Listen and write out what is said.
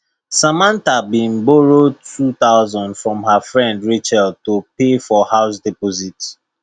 samantha been borrow 2000 from her friend rachel to pay for house deposit